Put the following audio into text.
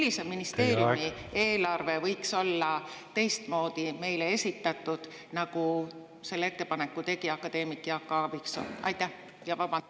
Millise ministeeriumi eelarve võiks olla teistmoodi meile esitatud, nagu selle ettepaneku tegi akadeemik Jaak Aaviksoo?